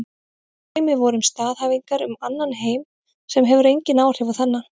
Dæmi væru staðhæfingar um annan heim sem hefur engin áhrif á þennan.